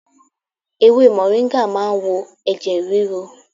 Ewé mọ̀ríngà ma ń wo ẹ̀jẹ̀ ríru.